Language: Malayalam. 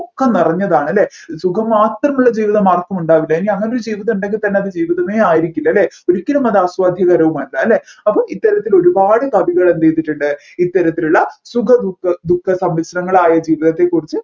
ഒക്കെ നിറഞ്ഞതാണ് അല്ലെ സുഖം മാത്രമുള്ള ജീവിതം ആർക്കുമുണ്ടാവില്ല ഇനി അങ്ങനെയൊരു ജീവിതം ഉണ്ടെങ്കിൽ തന്നെ അത് ജീവിതമേ ആയിരിക്കില്ല അല്ലെ ഒരിക്കലും അത് ആസ്വാദ്യകരവുമല്ല അല്ലെ അപ്പോ ഇത്തരത്തിൽ ഒരുപാട് കവികൾ എന്ത് ചെയ്തിട്ടുണ്ട് ഇത്തരത്തിലുള്ള സുഖ ദുഃഖ ദുഃഖ സമ്മിശ്രങ്ങളായ ജീവിതത്തെ കുറിച്ച്